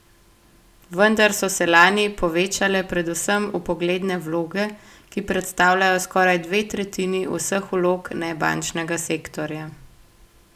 Vendar so se lani povečale predvsem vpogledne vloge, ki predstavljajo skoraj dve tretjini vseh vlog nebančnega sektorja.